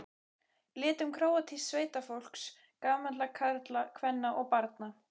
litum króatísks sveitafólks, gamalla karla, kvenna og barna.